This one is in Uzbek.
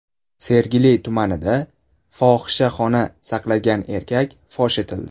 Sergeli tumanida fohishaxona saqlagan erkak fosh etildi.